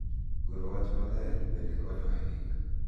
Goro wach maler bende konyo ahinya .